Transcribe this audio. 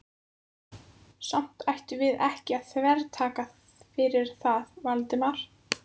Samt ættum við ekki að þvertaka fyrir það, Valdimar.